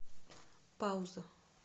пауза